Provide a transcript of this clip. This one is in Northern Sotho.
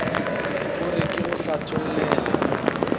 o re ke go hlathollele